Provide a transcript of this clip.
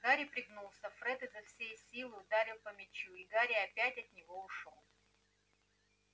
гарри пригнулся фред изо всей силы ударил по мячу и гарри опять от него ушёл